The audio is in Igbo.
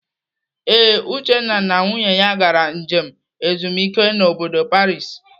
Ee, Uchenna na nwunye ya gara njem ezumike n'bodo Paris.